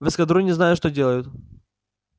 в эскадроне знают что делают